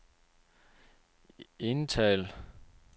indtal